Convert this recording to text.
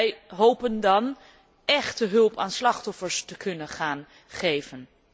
Wij hopen dan échte hulp aan slachtoffers te kunnen gaan geven.